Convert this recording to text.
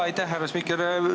Aitäh, härra spiiker!